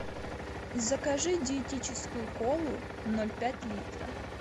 закажи диетическую колу ноль пять литра